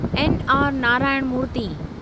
N R Narayana Murthy